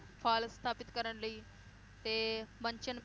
ਫਲ ਸਥਾਪਿਤ ਕਰਨ ਲਈ, ਤੇ ਮੰਚਨ~